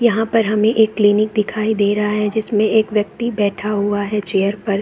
यहां पर हमे एक क्लिनिक दिखाई दे रहा है जिसमे एक व्यक्ति बैठा हुआ है चेयर पर।